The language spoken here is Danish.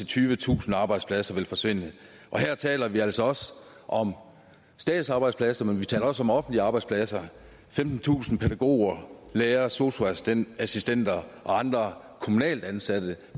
tyvetusind arbejdspladser vil forsvinde her taler vi altså også om statsarbejdspladser men vi taler også om offentlige arbejdspladser femtentusind pædagoger lærere sosu assistenter assistenter og andre kommunalt ansatte